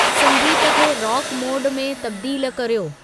संगीत खे rock mode में तब्दीलु कर्यो